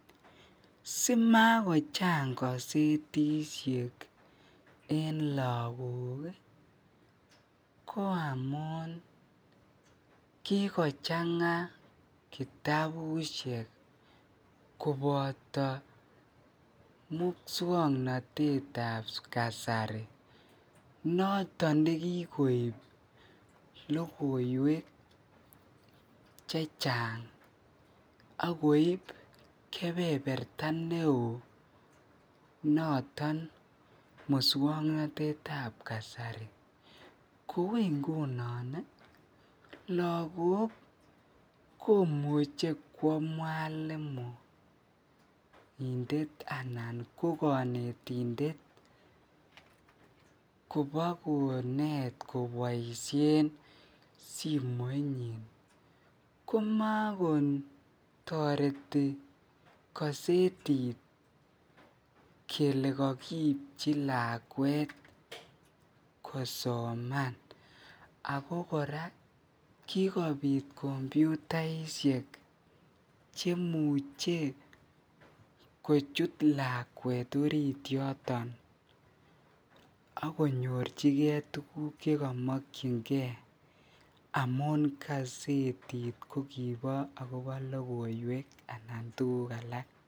Simakochang gazetishek en lokok ko amun kikochanga kitabushek koboto muswoknotwtab kasari noton nekikoib lokoiwek chechang ak koib kebeberta neo noton muswoknotetab kasari, ko ingunon lokok komuche kwo mwalimuindet anan ko konetindet kobakonet koboishen simoinyin komokotoreti gazetiti kelee kakipchi lakwet kosoman ak ko kora kikobit kompyutaishek chemuche kochut lakwet oriit yoton ak konyorchike tukuk chekomokyinge amun kasetit kokibo akobo lokoiet anan kobo tukuk alak.